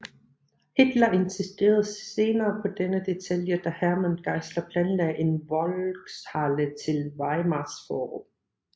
Hitler insisterede senere på denne detalje da Hermann Giesler planlagde en Volkshalle til Weimars forum